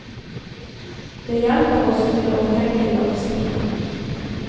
Det hjelper oss til å tenke langsiktig.